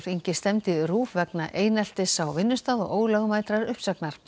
stefndi RÚV vegna eineltis á vinnustað og ólögmætrar uppsagnar